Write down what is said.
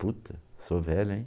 Puta, sou velho, hein?